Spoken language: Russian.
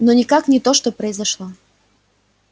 но никак не то что произошло